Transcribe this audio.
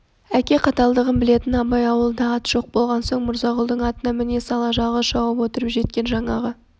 әке қаталдығын білетін абай ауылда ат жоқ болған соң мырзағұлдың атына міне сала жалғыз шауып отырып жеткен жаңағы